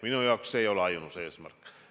Minu jaoks ei ole see ainus eesmärk.